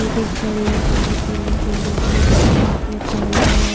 Ladies खड़ी है पानी पीने के लिए एक लेडीज के हाथ में थैला है।